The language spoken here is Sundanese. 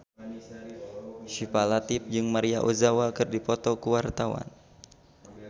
Syifa Latief jeung Maria Ozawa keur dipoto ku wartawan